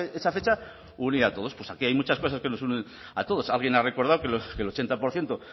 que esa fecha unía a todos pues aquí hay muchas cosas que nos unen a todos alguien ha recordado que el ochenta por ciento